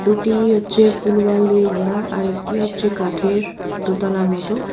দুটি হচ্চে full wall দিয়ে ঘেরা আর একটি হচ্ছে কাঠের দোতালার মতো।